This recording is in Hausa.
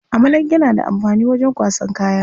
Amalanke na da amfani wajen kwasan kaya.